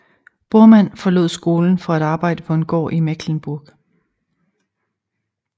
Bormann forlod skolen for at arbejde på en gård i Mecklenburg